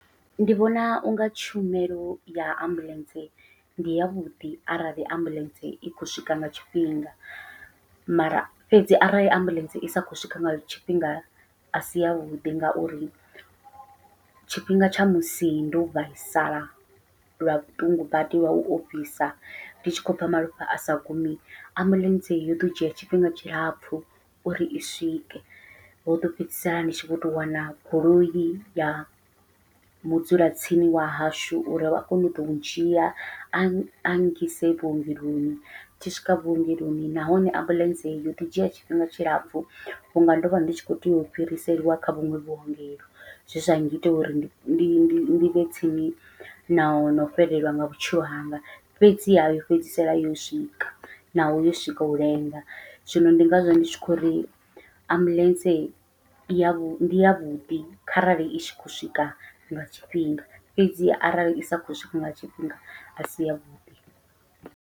Ndi vhona unga tshumelo ya ambuḽentse ndi yavhuḓi arali ambuḽentse i khou swika nga tshifhinga, mara fhedzi arali ambuḽentse isa khou swika nga tshifhinga asi yavhuḓi ngauri tshifhinga tsha musi ndo vhaisala lwa vhuṱungu badi lwau ofhisa ndi tshi khou bva malofha asa gumi, ambuḽentse yo ḓo dzhia tshifhinga tshilapfhu uri i swike ho ḓo fhedzisela ndi tshi vho tou wana goloi ya mudzula tsini wa hashu uri vha kone uḓo dzhia a a ngise vhuongeloni. Tshi swika vhuongeloni nahone ambuḽentse yoḓi dzhia tshifhinga tshilapfhu vhunga ndovha ndi tshi kho tea u fhiriselwa kha vhuṅwe vhuongelo, zwe zwa ngita uri ndi vhe tsini na ho no fhelelwa nga vhutshilo hanga fhedziha yo fhedzisela yo swika naho yo swika u lenga, zwino ndi ngazwo ndi tshi khou uri ambuḽentse yavhuḓi ndi yavhuḓi kharali i tshi khou swika nga tshifhinga fhedzi arali isa khou swika nga tshifhinga asi yavhuḓi.